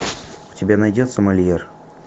у тебя найдется мольер